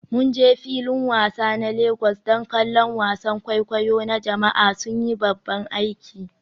Mun je filin wasa na Legas don kallon wasan kwaikwayo na jama'a, sun yi babban aiki.